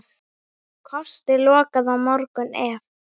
Kosti lokað á morgun ef.